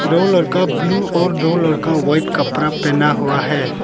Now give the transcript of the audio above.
दो लरका ब्लू और दो लरका व्हाइट कपड़ा पहना हुआ है।